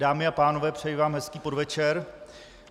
Dámy a pánové, přeji vám hezký podvečer.